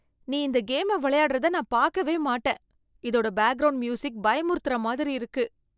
நீ இந்த கேமை விளையாடுறதை நான் பார்க்கவே மாட்டேன். இதோட பேக்ரவுண்ட் மியூசிக் பயமுறுத்துற மாதிரி இருக்கு.